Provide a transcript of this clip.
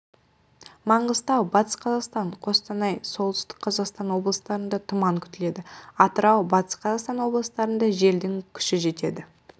маңғыстау батыс қазақстан қостанай солтүстік қазақстан облыстарында тұман күтіледі атырау батыс қазақстан облыстарында желдің күші жетеді